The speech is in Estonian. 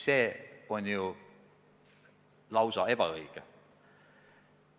See on lausa vale.